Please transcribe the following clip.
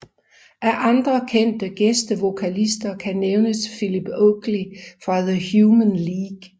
Af andre kendte gæstevokalister kan nævnes Philip Oakley fra The Human League